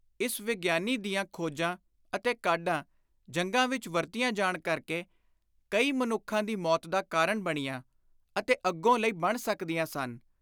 ਇਸ ਵਿਗਿਆਨੀ ਦੀਆਂ ਖੋਜਾਂ ਅਤੇ ਕਾਢਾਂ ਜੰਗਾਂ ਵਿਚ ਵਰਤੀਆਂ ਜਾਣ ਕਰਕੇ ਕਈ ਮਨੁੱਖਾਂ ਦੀ ਮੌਤ ਦਾ ਕਾਰਣ ਬਣੀਆਂ ਅਤੇ ਅੱਗੋਂ ਲਈ ਬਣ ਸਕਦੀਆਂ ਸਨ।